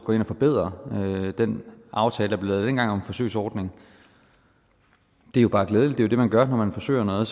og forbedrer den aftale der blev lavet dengang om en forsøgsordning jo bare er glædeligt det er jo det man gør når man forsøger noget